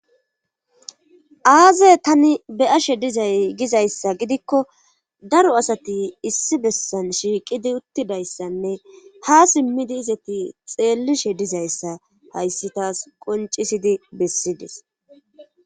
aaze tani beyashe dizay gizayssa gidikko daro asati issi bessan shiiqidi uttidayssanne ha simmidi izati xeellishe dizayssa hayssi taas qoncisidi bessides